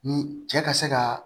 Ni cɛ ka se kaa